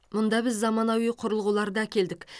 мұнда біз заманауи құрылғыларды әкелдік